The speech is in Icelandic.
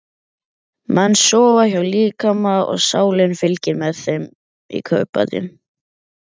Menn sofa hjá líkama og sálin fylgir með í kaupbæti.